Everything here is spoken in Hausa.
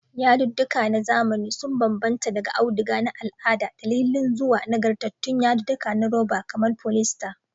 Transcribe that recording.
Yadudduka na zamani sun bambanta daga auduga na al'ada da lilin zuwa nagartattun yadudduka na roba kamar polyester.